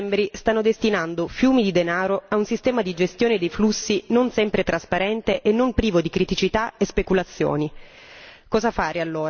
L'Europa e i singoli Stati membri stanno destinando fiumi di denaro a un sistema di gestione di flussi non sempre trasparente e non privo di criticità e speculazioni.